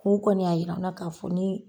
kɔni y'a yir'an na k'a fɔ